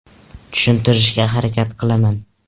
Tushuntirishga harakat qilaman.